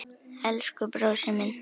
Elsku brósi minn.